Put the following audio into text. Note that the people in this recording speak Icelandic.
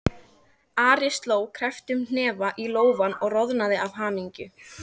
Ari sló krepptum hnefa í lófann og roðnaði af hamingju.